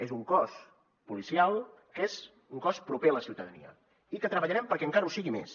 és un cos policial que és un cos proper a la ciutadania i que treballarem perquè encara ho sigui més